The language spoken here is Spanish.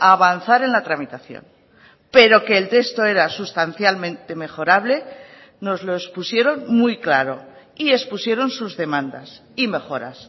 avanzar en la tramitación pero que el texto era sustancialmente mejorable nos lo expusieron muy claro y expusieron sus demandas y mejoras